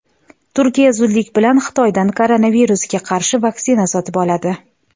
Turkiya zudlik bilan Xitoydan koronavirusga qarshi vaksina sotib oladi.